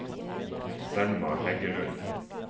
Selma Heggelund